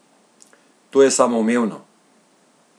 To je samoumevno!